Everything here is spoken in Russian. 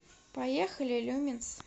поехали люминс